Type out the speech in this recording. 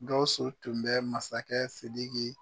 Gausu tun bɛ masakɛ Sidiki.